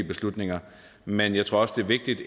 beslutninger men jeg tror også det er vigtigt